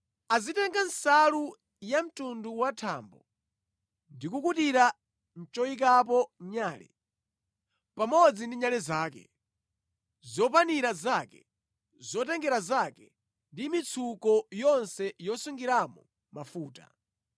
“Azitenga nsalu ya mtundu wa thambo ndi kukutira choyikapo nyale, pamodzi ndi nyale zake, zopanira zake, zotengera zake ndi mitsuko yonse yosungiramo mafuta.